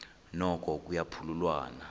noko kuya phululwana